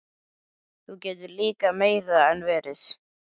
Það getur líka meira en verið.